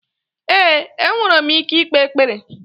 Ee, enwere m ike ikpe ekpere.